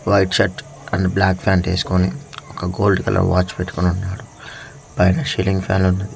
White shirt and black pant వేసుకొని ఒక gold colour watch పెట్టుకుని ఉన్నాడు పైన సీలింగ్ ఫ్యాన్ ఉన్నది.